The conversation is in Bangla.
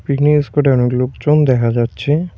পিকনিকের স্পটে অনেক লোকজন দেখা যাচ্ছে।